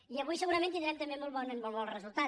i avui segurament tindrem també molt bon resultat